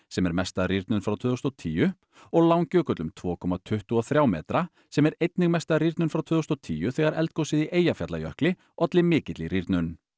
sem er mesta rýrnun frá tvö þúsund og tíu og Langjökull um tvö komma tuttugu og þriggja metra sem er einnig mesta rýrnun frá tvö þúsund og tíu þegar eldgosið í Eyjafjallajökli olli mikilli rýrnun